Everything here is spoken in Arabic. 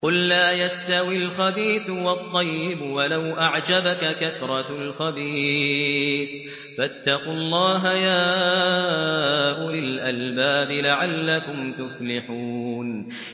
قُل لَّا يَسْتَوِي الْخَبِيثُ وَالطَّيِّبُ وَلَوْ أَعْجَبَكَ كَثْرَةُ الْخَبِيثِ ۚ فَاتَّقُوا اللَّهَ يَا أُولِي الْأَلْبَابِ لَعَلَّكُمْ تُفْلِحُونَ